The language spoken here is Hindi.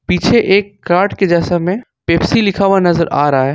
पीछे एक काठ के जैसा में पेप्सी लिखा हुआ नजर आ रहा है।